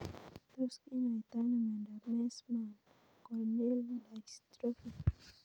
Tos kinyoitoi ano miondop Meesmann corneal dystrophy